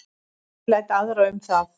Ég læt aðra um það